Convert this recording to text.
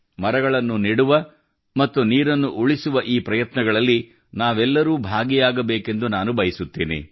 ಮರಗಳನ್ನು ನೆಡುವ ಮತ್ತು ನೀರನ್ನು ಉಳಿಸುವ ಈ ಪ್ರಯತ್ನಗಳಲ್ಲಿ ನಾವೆಲ್ಲರೂ ಭಾಗಿಯಾಗಬೇಕೆಂದು ನಾನು ಬಯಸುತ್ತೇನೆ